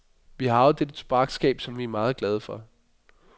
Vi har arvet dette tobaksskab, som vi er meget glade for.